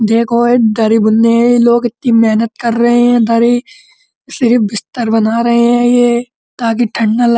देखो ये दरी बुनने ये लोग इतनी मेहनत कर रहे है ये दरी फिर बिस्तर बना रहे है ये ताकि ठंड ना ल --